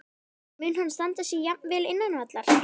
En mun hann standa sig jafn vel innan vallar?